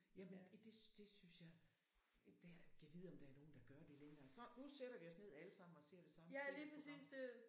Jamen i det synes det synes jeg det har jeg da gad vide om der er nogen der gør det længere så nu sætter vi os ned alle sammen og ser det samme TV program